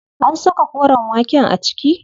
An saka koren waken a ciki?